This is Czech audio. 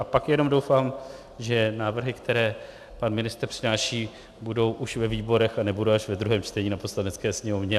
A pak jenom doufám, že návrhy, které pan ministr přináší, budou už ve výborech a nebudou až ve druhém čtení na Poslanecké sněmovně.